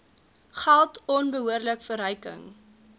geld onbehoorlike verryking